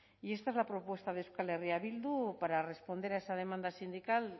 y esta es la propuesta de euskal herria bildu para responder a esa demanda sindical